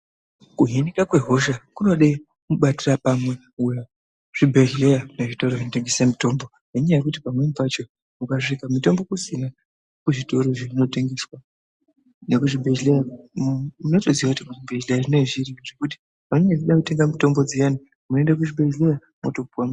Kuhinika kwehosha kunoda mubatira pamwe kwezvibhedhleya nezvitoro zvinotengese mutombo ngenyaa yekuti pamweni pacho ukasvika mitombo kusina kuzvitoro zvinotengesa nekuzvibhedhleya, unotoziya kuti kuzvibhedhleya zvinenge zviriko nekuti vanenge vachida kutenga mitombo dziyani moende kuchibhedhleya motopiwa.